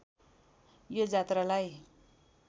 यो जात्रालाई